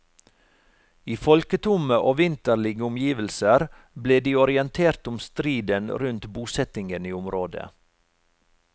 I folketomme og vinterlige omgivelser ble de orientert om striden rundt bosettingen i området.